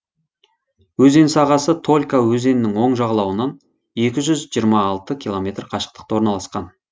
өзен сағасы толька өзенінің оң жағалауынан екі жүз жиырма алты километр қашықтықта орналасқан